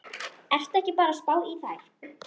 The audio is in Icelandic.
Ertu ekki bara að spá í þær?